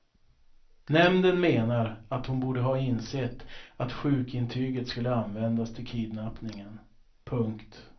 Nämnden menar att hon borde ha insett att sjukintyget skulle användas till kidnappningen. punkt